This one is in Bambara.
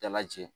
Dala jɛ